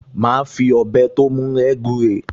Màá fi ọ̀bẹ tó mú rẹ́ gúre